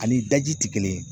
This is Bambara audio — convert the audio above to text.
Ani daji ti kelen ye